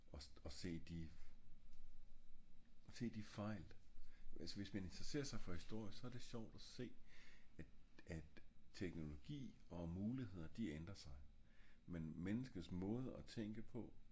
øhm og se de se de fejl hvis man interesserer sig for historie så er det sjovt at se at teknologi og muligheder de ændre sig men menneskets måde og tænke på